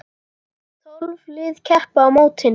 Tólf lið keppa á mótinu.